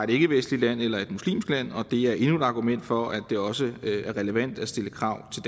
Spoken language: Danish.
ikkevestligt land eller et muslimsk land og det er endnu et argument for at det også er relevant at stille krav til